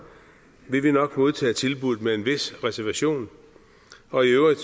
vil vi nok modtage tilbuddet med en vis reservation og i øvrigt